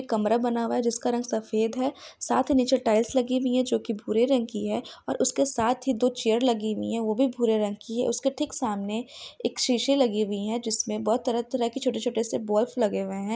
कमरा बना हुआ है जिसका रंग सफेद है साथ ही नीचे टाइल्स लगी हुई है जो की भूरे रंग की है और उसके साथ ही दो चेयर लगी हुई है वो भी भूरे रंग की है उसके ठीक सामने एक शीशे लगी हुई है जिसने बहुत तरह-तरह की छोटे-छोटे बोल्फ लगे हुई हैं।